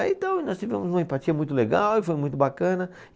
Aí então nós tivemos uma empatia muito legal e foi muito bacana.